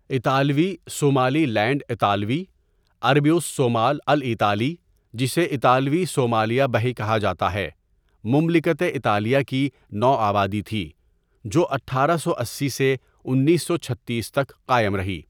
اطالوی Somaliland اطالوی، عربی الصومال الإيطالي جسے اطالوی صومالیہ بحِ کہا جاتا ہے مملکت اطالیہ کی نوآبادی تھی جو اٹھارہ سو اسی سے انیس سو چھتیس تک قائم رہی.